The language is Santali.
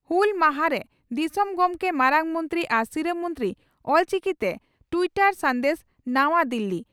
ᱦᱩᱞ ᱢᱟᱦᱟ ᱨᱮ ᱫᱤᱥᱚᱢ ᱜᱚᱢᱠᱮ, ᱢᱟᱨᱟᱝ ᱢᱚᱱᱛᱨᱤ ᱟᱨ ᱥᱤᱨᱟᱹ ᱢᱚᱱᱛᱨᱤ ᱚᱞᱪᱤᱠᱤᱛᱮ ᱴᱤᱭᱴᱚᱨ ᱥᱟᱱᱫᱮᱥ ᱱᱟᱶᱟ ᱫᱤᱞᱤ